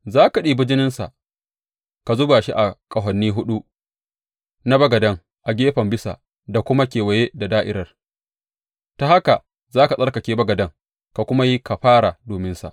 Za ka ɗibi jininsa ka zuba shi a ƙahoni huɗu na bagaden a gefen bisa da kuma kewaye da da’irar, ta haka za ka tsarkake bagaden ka kuma yi kafara dominsa.